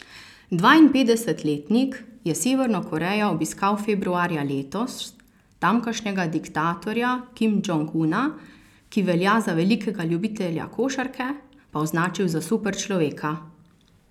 Dvainpetdesetletnik je Severno Korejo obiskal februarja letos, tamkajšnjega diktatorja Kim Džong Una, ki velja za velikega ljubitelja košarke, pa označil za super človeka.